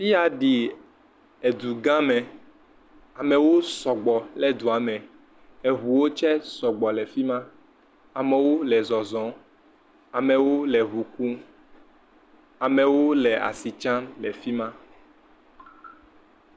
Fi ya ɖii edugame. Amewo sɔgbɔ le dua me. Eŋuwo tsɛ sɔgbɔ le fi ma. Amewo le zɔzɔ. Amewo le ŋu kum. Amewo le asi tsam le fi ma.